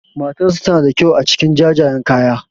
Matarsa tana da kyau a cikin jajayen kaya.